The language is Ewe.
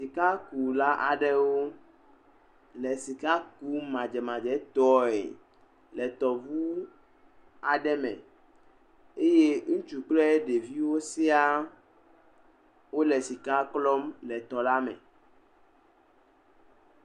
Sikakula aɖewo le sikakum madzemadzetɔele tɔŋu aɖe me. Eye ŋutsu kpl ɖeviwo siaa wole sika klɔm le tɔla me.